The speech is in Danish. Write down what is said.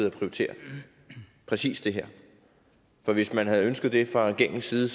at prioritere præcis det her for hvis man havde ønsket det fra regeringens side